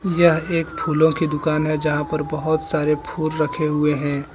यह एक फूलों की दुकान है जहां पर बहोत सारे फूल रखे हुए हैं।